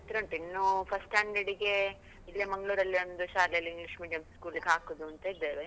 ಹತ್ರ ಉಂಟು, ಇನ್ನೂ first standard ಗೆ ಇಲ್ಲೆ ಮಂಗ್ಳೂರಲ್ಲೇ ಒಂದು ಶಾಲೆಯಲ್ಲಿ, english medium school ಗ್ ಹಾಕುದು ಅಂತ ಇದ್ದೇವೆ.